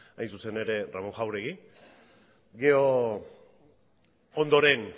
hain zuzen ere ramón jauregui gero ondoren